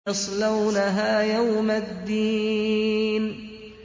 يَصْلَوْنَهَا يَوْمَ الدِّينِ